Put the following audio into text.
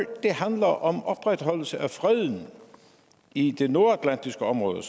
handler om opretholdelse af freden i det nordatlantiske område